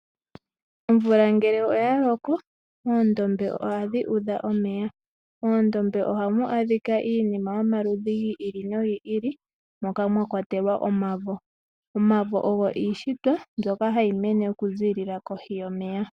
Omvula ngele oya loko oondombe ohadhi udha omeya. Moondombe ohamu adhika iinima yomaludhi ga yoolokathana moka mwa kwatelwa omavo. Omavo ogo iishitwa mbyoka hayi mene okuzilila kohi yomeya.